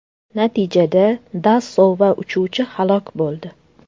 Natijada Dasso va uchuvchi halok bo‘ldi.